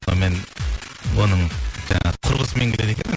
сонымен оның жаңағы құрбысымен келеді екен